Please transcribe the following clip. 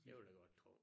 Det vil jeg godt tro